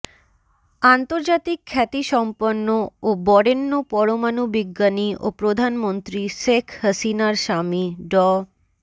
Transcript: আন্তর্জাতিক খ্যাতিসম্পন্ন ও বরেণ্য পরমাণু বিজ্ঞানী ও প্রধানমন্ত্রী শেখ হাসিনার স্বামী ড